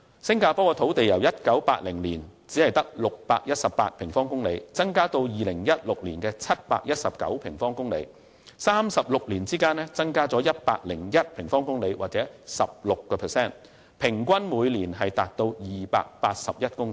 新加坡的土地由1980年只有618平方公里增至2016年的719平方公里，在36年間增加了101平方公里或 16%， 平均每年達281公頃。